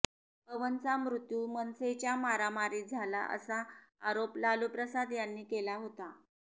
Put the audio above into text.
पवनचा मृत्यू मनसेच्या मारामारीत झाला असा आरोप लालूप्रसाद यांनी केला होता